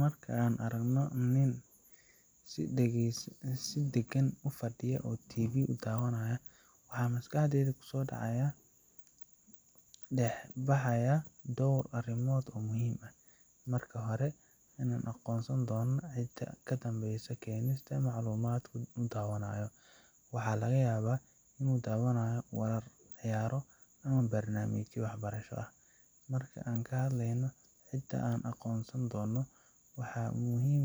Markaan aragno nin si dagan ufadiyo oo TV daawanaya, waxaa maskaxdeyda kusoo dacaaya, dex baxaaya door arimood oo muhiim ah, marka hore inaan aqoonsan doono keenista maclumaad uu dawanaayo, waxaa laga yaaba inuu daawanayo warar, ciyaaro ama barnaamijyo wax barasho ah, marka aan ka hadleyno xitaa aan aqoonsan doono, waxaa muhiim